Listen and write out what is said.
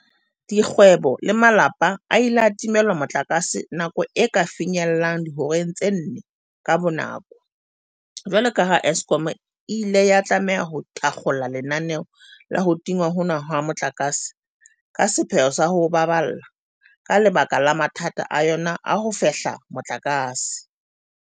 Dikgwebo le malapa a ile a timelwa motlakase nako e ka finyellang dihoreng tse nne ka bonako jwalo ka ha Eskom e ile ya tlameha ho thakgola lenaneo la ho tingwa hona ha motlakase ka sepheo sa o ho baballa ka lebaka la mathata a yona a ho fehla motlakase.